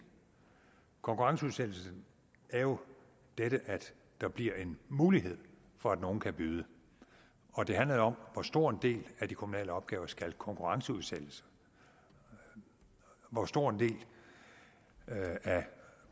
konkurrenceudsættelse er jo dette at der bliver en mulighed for at nogle kan byde og det handler jo om hvor stor en del af de kommunale opgaver der skal konkurrenceudsættes hvor stor en del af